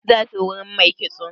Za su wurin mai kitso?